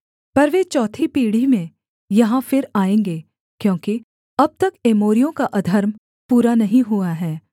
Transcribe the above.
पर वे चौथी पीढ़ी में यहाँ फिर आएँगे क्योंकि अब तक एमोरियों का अधर्म पूरा नहीं हुआ हैं